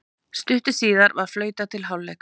Stuttu síðar var flautað til hálfleiks.